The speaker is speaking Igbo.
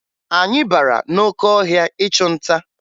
Anyị bara n'oke ọhịa ịchụ nta